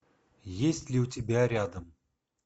есть ли у тебя рядом